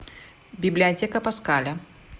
библиотека паскаля